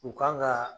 U kan ka